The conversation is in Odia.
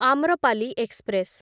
ଆମ୍ରପାଲି ଏକ୍ସପ୍ରେସ